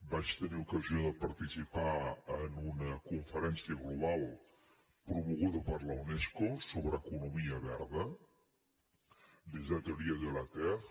vaig tenir ocasió de participar en una conferència global promoguda per la unesco sobre economia verda les ateliers de la terre